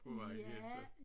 På vejen igen så